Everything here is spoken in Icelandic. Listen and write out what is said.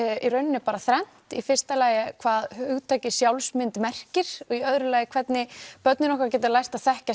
í rauninni bara þrennt í fyrsta lagi hvað hugtakið sjálfsmynd merkir í öðru lagi hvernig börnin okkar geta lært að þekkja